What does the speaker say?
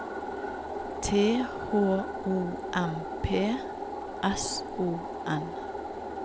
T H O M P S O N